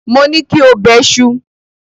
Mo ní kí o bẹṣu!